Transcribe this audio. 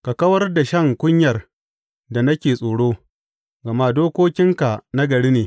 Ka kawar da shan kunyar da nake tsoro, gama dokokinka nagari ne.